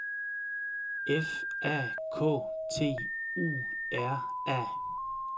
F A K T U R A